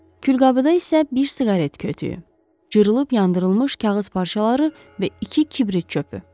Külqabıda isə bir siqaret kötüyü, cırılıb yandırılmış kağız parçaları və iki kibrit çöpü.